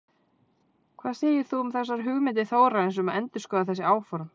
Hvað segir þú um þessar hugmyndir Þórarins um að endurskoða þessi áform?